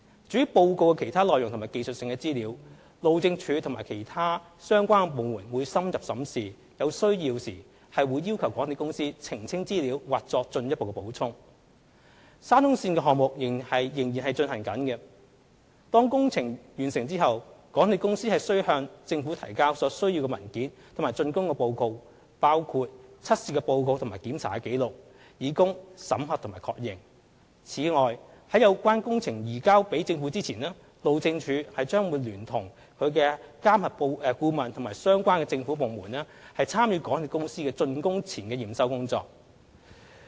至於報告的其他內容及技術性資料，路政署和其他相關的部門會深入審視，有需要時會要求港鐵公司澄清資料或作進一步補充。沙中線項目仍在進行，當工程完成後，港鐵公司須向政府提交所需文件及竣工報告，包括測試報告和檢查紀錄，以供審核並確認。此外，在有關工程移交政府前，路政署將聯同其監核顧問和相關政府部門參與港鐵公司的竣工前驗收工作。